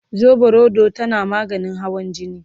soɓorodo tana maganin hawan jini